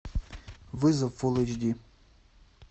вызов фул эйч ди